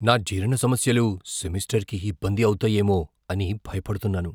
నా జీర్ణ సమస్యలు సెమిస్టర్కి ఇబ్బంది అవుతాయేమో అని భయపడుతున్నాను.